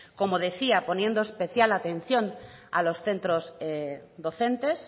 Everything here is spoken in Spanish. como decía poniendo especial atención a los centros docentes